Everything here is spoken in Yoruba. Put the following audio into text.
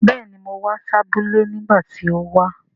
Béèni, mo wa si abúlé nígbàtí ti o wa